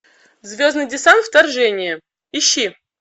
звездный десант вторжение ищи